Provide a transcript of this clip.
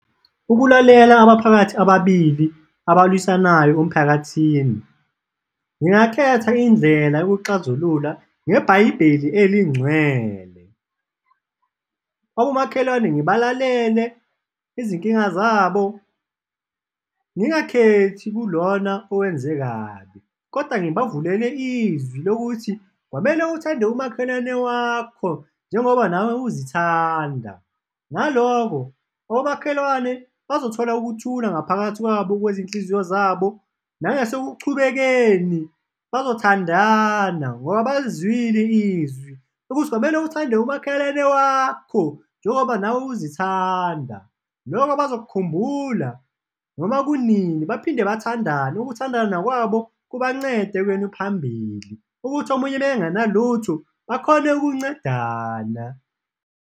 Ukulalela abaphakathi ababili abalwisanayo omphakathini, ngingakhetha indlela yokuxazulula ngeBhayibheli eliNgcwele. Abomakhelwane ngibalalele izinkinga zabo, ngingakhethi kulona owenze kabi kodwa ngibavulele izwi lokuthi, kwamele uthande umakhelwane wakho njengoba nawe uzithanda. Ngaloko, abomakhelwane bazothola ukuthula ngaphakathi kwabo kwezinhliziyo zabo, nangasekuqubekeni bazothandana ngoba balizwile izwi ukuthi, kwamele uthande umakhelwane wakho njengoba nawe uzithanda, loko bazokukhumbula noma kunini baphinde bathandane, ukuthandana kwabo kubancede ekuyeni phambili, ukuthi omunye mekengenalutho bakhone ukuncedana.